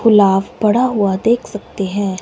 पुलाव पड़ा हुआ देख सकते हैं।